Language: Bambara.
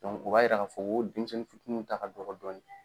u b'a yira k'a fɔ ko denmisɛnnin fitininw ta ka dɔgɔ dɔni.